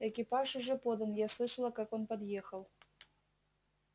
экипаж уже подан я слышала как он подъехал